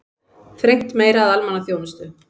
Þrengt meira að almannaþjónustu